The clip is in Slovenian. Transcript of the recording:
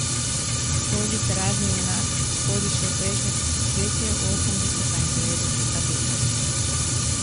Tvoj literarni junak sodi še v prejšnje tisočletje, v osemdeseta in devetdeseta leta.